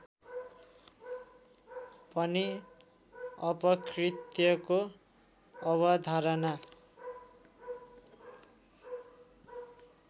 पनि अपकृत्यको अवधारणा